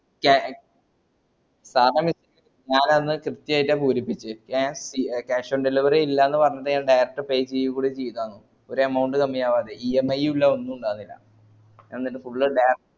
ഞാനന്ന് കൃത്യായിറ്റ പൂരിപ്പിച്ചേ ങേ ഏ cash on delivery ഇല്ലാന്ന് പറഞ്ഞിട്ട് ഞാൻ നേരത്തെ pay ചെയ്യൂടി ചെയ്തർന്നു ഒരു amount കമ്മിയാകാതെ EMI യൂല്ല ഒന്നുണ്ടായ്ല്ല ഞാനന്ന് full